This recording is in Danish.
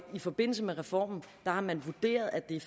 forbindelse med reformen har man vurderet at det er